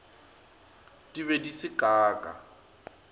di be di se kaka